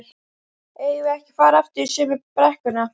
eigum við ekki að fara aftur í sömu brekkuna?